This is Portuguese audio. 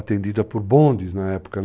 Atendida por bondes na época, né?